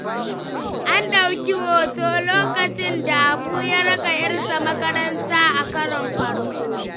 An ɗauki hoto lokacin da Habu ya raka ‘yarsa makaranta a karon farko.